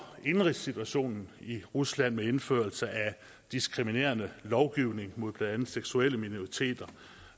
indenrigssituationen i rusland med indførelse af diskriminerende lovgivning mod blandt andet seksuelle minoriteter